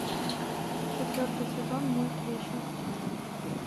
четвертый сезон мульт вечность